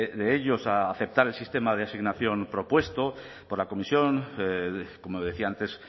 de ellos a aceptar el sistema de asignación propuesto por la comisión como decía antes